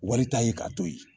Walita ye ka to yen